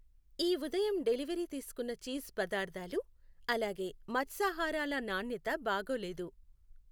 ఈ ఉదయం డెలివరీ తీసుకున్న చీజ్ పదార్థాలు అలాగే మత్స్యాహారాల నాణ్యత బాగోలేదు.